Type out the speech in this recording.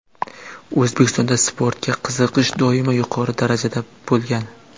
O‘zbekistonda sportga qiziqish doimo yuqori darajada bo‘lgan.